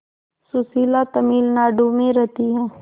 सुशीला तमिलनाडु में रहती है